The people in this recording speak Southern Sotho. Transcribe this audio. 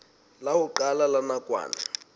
la ho qala la nakwana